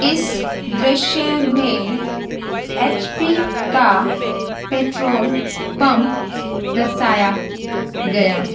इस दृशय में एच पी का पेट्रोल पम्प दर्शाया गया है।